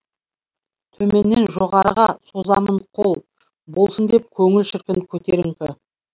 төменнен жоғарыға созамын қол болсын деп көңіл шіркін көтеріңкі